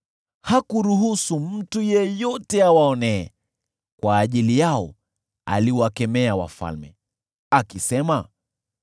Hakuruhusu mtu yeyote awaonee; kwa ajili yao aliwakemea wafalme, akisema: